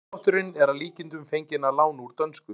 Málshátturinn er að líkindum fenginn að láni úr dönsku.